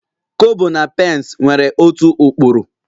Kobo na pence nwere otu ụkpụrụ